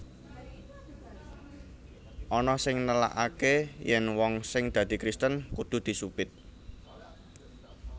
Ana sing nélakaké yèn wong sing dadi Kristen kudu disupit